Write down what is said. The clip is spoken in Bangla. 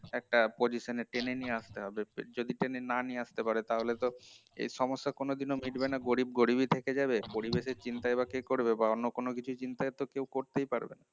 একটা position এ টেনে নিয়ে আসতে হবে যদি টেনে না নিয়ে আস্তে পারে তাহলে তো এই সেই সমস্যা কোনোদিন এ তো মিটবে না, গরিব গরিবি থেকে যাবে আর গরীবের চিন্তাই বা কি করবে বা অন্য কিছু চিন্তা তো কেও করতেই পারবে না